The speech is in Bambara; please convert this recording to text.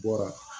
Bɔra